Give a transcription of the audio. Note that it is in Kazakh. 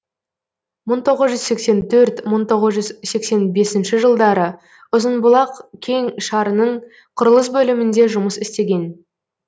мың тоғыз жүз сексен төрт мың тоғыз жүз сексен бесінші жылдары ұзынбұлақ кең шарының құрылыс бөлімінде жұмыс істеген